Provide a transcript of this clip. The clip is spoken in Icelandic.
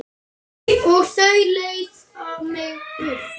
Og þau leiða mig burt.